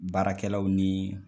Baarakɛlaw ni